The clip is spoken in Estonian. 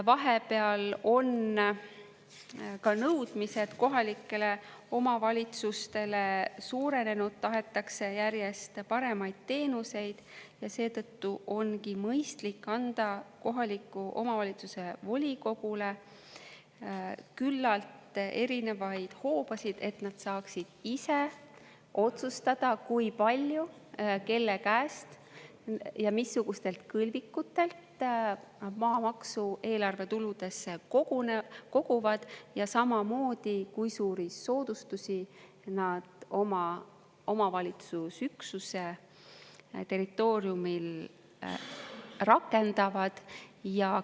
Vahepeal on ka nõudmised kohalikele omavalitsustele suurenenud, tahetakse järjest paremaid teenuseid ja seetõttu ongi mõistlik anda kohaliku omavalitsuse volikogule küllalt erinevaid hoobasid, et nad saaksid ise otsustada, kui palju kelle käest ja missugustelt kõlvikutelt nad maamaksu eelarvetuludesse koguvad, ja samamoodi, kui suuri soodustusi nad omavalitsusüksuse territooriumil rakendavad.